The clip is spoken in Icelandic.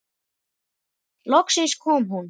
Loksins kom hún.